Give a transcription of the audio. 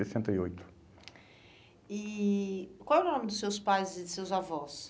sessenta e oito. E qual é o nome dos seus pais e de seus avós?